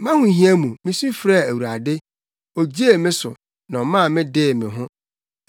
Mʼahohia mu, misu frɛɛ Awurade; ogyee me so, na ɔma me dee me ho.